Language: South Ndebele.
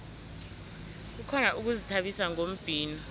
kukhona ukuzithabisa ngombhino